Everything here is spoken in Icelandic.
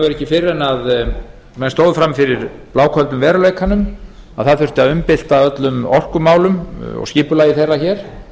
rauninni ekki fyrr en menn stóðu frammi fyrir bláköldum veruleikanum að það þurfti að umbylta öllum orkumálum og skipulagi þeirra hér